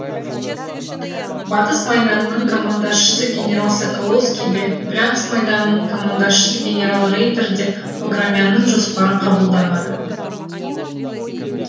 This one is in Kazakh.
батыс майданының командашысы генерал соколовский де брянск майданының командашасы генерал рейтер де баграмяннің жоспарын қабылдамады